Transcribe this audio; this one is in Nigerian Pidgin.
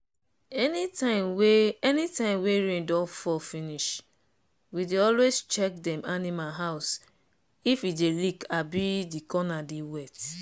anytime wey anytime wey rain don fall finishwe dey always check dem animal house if e dey leak abi the corner dey wet.